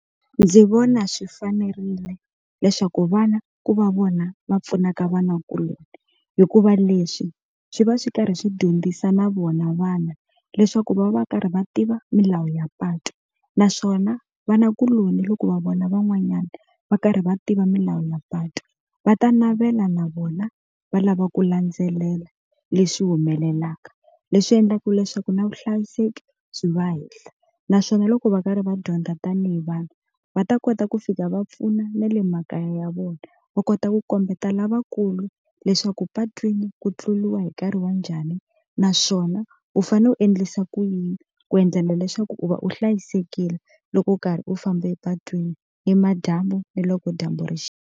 Ndzi vona swi fanerile leswaku vana ku va vona va pfunaka vana hikuva leswi swi va swi karhi swi dyondzisa na vona vana leswaku va va va karhi va tiva milawu ya patu naswona vanakuloni loko va vona van'wanyana va karhi va tiva milawu ya patu va ta navela na vona va lava ku landzelela leswi humelelaka, leswi endlaka leswaku na vuhlayiseki byi va hehla naswona loko va karhi va dyondza tanihi vanhu va ta kota ku fika va pfuna na le makaya ya vona va kota ku kombeta lavakulu leswaku patwini ku tluriwa hi nkarhi wa njhani naswona u fanele u endlisa ku yini ku endlela leswaku u va u hlayisekile loko u karhi u famba epatwini ni madyambu ni loko dyambu rixa.